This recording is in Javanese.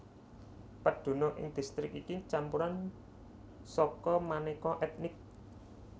Pedunung ing distrik iki campuran saka manéka ètnik